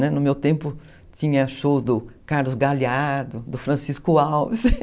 No meu tempo tinha shows do Carlos Galeado, do Francisco Alves.